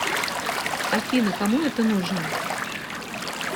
афина кому это нужно